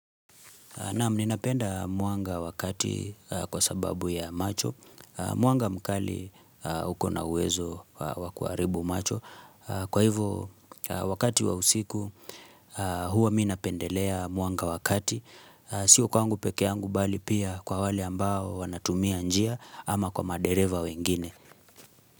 Naam, ninapenda mwanga wakati kwa sababu ya macho. Mwanga mkali uko na uwezo wakuharibu macho. Kwa hivyo, wakati wa usiku, huwa minapendelea mwanga wakati. Sio kwangu pekee yangu bali pia kwa wali ambao wanatumia njia ama kwa madereva wengine.